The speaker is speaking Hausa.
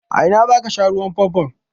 A ina za ka sha ruwan famfon?